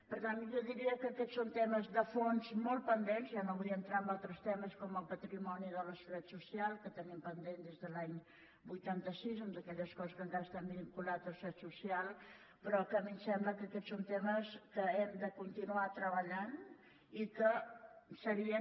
per tant jo diria que aquests són temes de fons molt pendents i ja no vull entrar en altres temes com el patrimoni de la seguretat social que ho tenim pendent des de l’any vuitanta sis amb totes aquelles coses que encara estan vinculades a la seguretat social però que a mi em sembla que aquests són temes que hi hem de continuar treballant i que serien